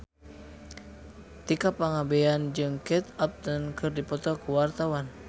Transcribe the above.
Tika Pangabean jeung Kate Upton keur dipoto ku wartawan